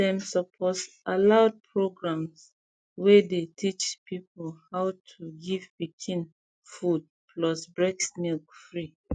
them suppose allow program wey dey teach people how to to give pikin food plus breast milk free